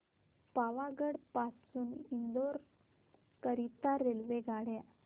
पावागढ पासून इंदोर करीता रेल्वेगाड्या